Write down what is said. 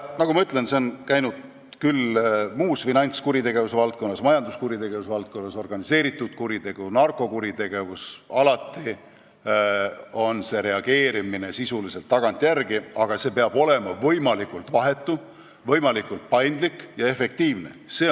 Nagu ma ütlesin, see on nii finantskuritegude, majanduskuritegude, organiseeritud kuritegude ja narkokuritegude puhul, alati toimub reageerimine sisuliselt tagantjärele, aga see peab olema võimalikult vahetu, paindlik ja efektiivne.